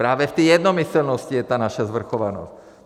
Právě v té jednomyslnosti je ta naše svrchovanost!